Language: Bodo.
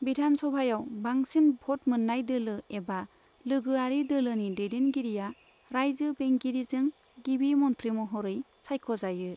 बिधानसभायाव बांसिन भ'ट मोन्नाय दोलो एबा लोगोआरि दोलोनि दैदेनगिरिआ राइजो बेंगिरिजों गिबि मन्थ्रि महरै सायखजायो।